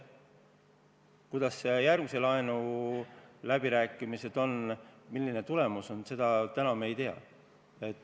Kuidas aga järgmise laenu läbirääkimised lähevad ja milline on tulemus, seda me täna ei tea.